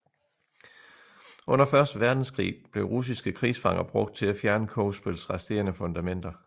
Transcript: Under Første Verdenskrig blev russiske krigsfanger brugt til at fjerne Kogsbøls resterende fundamenter